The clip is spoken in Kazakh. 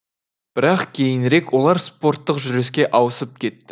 бірақ кейінірек олар спорттық жүріске ауысып кетті